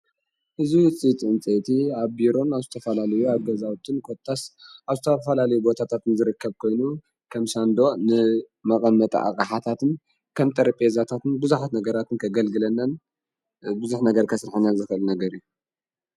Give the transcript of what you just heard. እዙይ ፂይጥእንፀይቲ ኣብ ቢሮን ኣውስተፈላልዩ ኣገዛዊትን ኰታስ ኣውስተፋላልዩ ቦታታትን ዝርከብ ኮይኑ ከምሻንዶ ንመቐመጠ ኣቓሓታትን ከም ተርጴዛታትን ብዙኃት ነገራትን ከገልግለናን ብዙኅ ነገር ከሥልሐንያ ዘፈል ነገር እዩ።